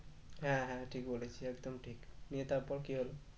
হ্যাঁ হ্যাঁ ঠিক বলেছিস একদম ঠিক নিয়ে তারপর কি হলো?